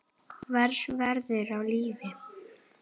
Hvers virði er líf?